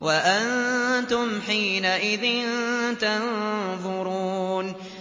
وَأَنتُمْ حِينَئِذٍ تَنظُرُونَ